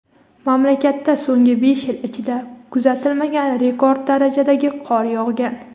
Mamlakatda so‘nggi besh yil ichida kuzatilmagan rekord darajadagi qor yog‘gan.